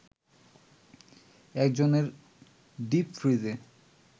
একজনের ডিপ ফ্রিজে